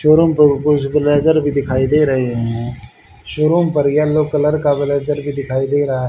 showroom पर कुछ blazer भी दिखाई दे रहे हैं शोरूम पर येलो कलर का ब्लेजर भी दिखाई दे रहा--